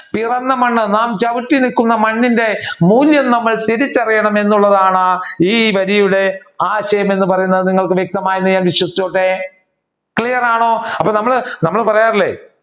നാം പിറന്ന മണ്ണ് നാം ചവിട്ടി നിക്കുന്ന മണ്ണിന്റെ മൂല്യം നമ്മൾ തിരിച്ചറിയണം എന്നുള്ളതാണ് ഈ വരിയുടെ ആശയം എന്ന് പറയുന്നത്. നിങ്ങൾക്ക് വ്യക്തമായി എന്ന് ഞാൻ വിശ്വസിച്ചോട്ടെ clear ആണോ അപ്പൊ നമ്മൾ നമ്മൾ പറയാറില്ലേ